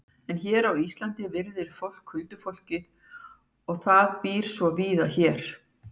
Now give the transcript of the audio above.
En hér á Íslandi virðir fólk huldufólkið og það býr svo víða hér.